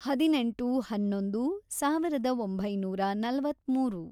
ಹದಿನೆಂಟು, ಹನ್ನೊಂದು, ಸಾವಿರದ ಒಂಬೈನೂರ ನಲವತ್ಮೂರು